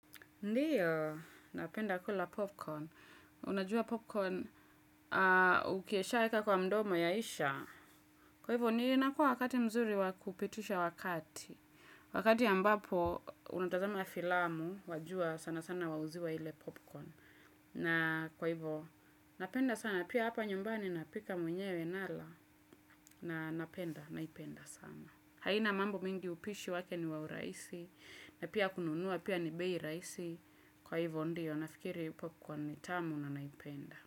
Ndiyo, napenda kula popcorn. Unajua popcorn ukieshaeka kwa mdomo yaisha. Kwa hivyo, ninakuwa wakati mzuri wakupitisha wakati. Wakati ambapo, unatazama ya filamu, wajua sana sana wauziwa hile popcorn. Na kwa hivyo, napenda sana pia hapa nyumbani napika mwenyewe nala na napenda, naipenda sana. Haina mambo mingi upishi wake ni wa uraisi na pia kununuwa pia ni bei raisi kwa hivyo ndio nafikiri upo kwa nitamu na naipenda.